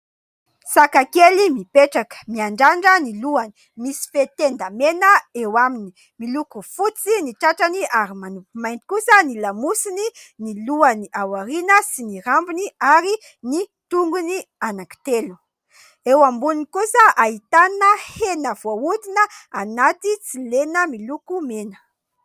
Saka kely mipetraka miandrandra ny lohany : misy fehy tenda mena eo aminy, miloko fotsy ny tratrany ary manopy mainty kosa ny lamosiny, ny lohany aoriana sy ny rambony ary ny tongony anankitelo, eo amboniny kosa ahitana hena voahodina anaty tsilena miloko mena.